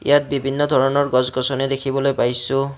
ইয়াত বিভিন্ন ধৰণৰ গছ-গছনি দেখিবলৈ পাইছোঁ।